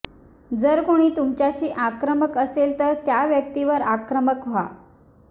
जर कोणी तुमच्याशी आक्रमक असेल तर त्या व्यक्तीवर आक्रमक व्हा